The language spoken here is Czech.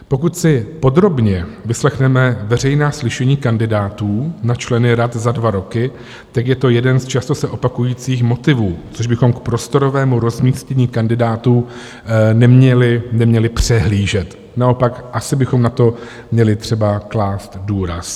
Pokud si podrobně vyslechneme veřejná slyšení kandidátů na členy rad za dva roky, tak je to jeden z často se opakujících motivů, což bychom k prostorovému rozmístění kandidátů neměli přehlížet, naopak asi bychom na to měli třeba klást důraz.